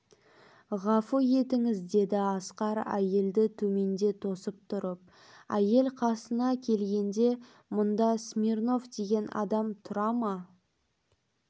ғафу етіңіз деді асқар әйелді төменде тосып тұрып әйел қасына келгенде мұнда смирнов деген адам тұра ма